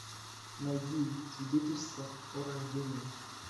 найди свидетельство о рождении